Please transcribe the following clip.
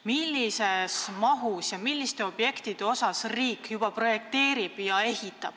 Millises mahus ja milliseid objekte riik juba projekteerib ja ehitab?